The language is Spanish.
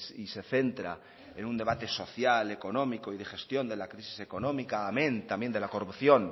y se centra en un debate social económico y de gestión de la crisis económica amén también de la corrupción